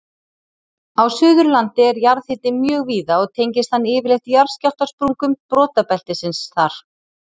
Á Suðurlandi er jarðhiti mjög víða og tengist hann yfirleitt jarðskjálftasprungum brotabeltisins þar.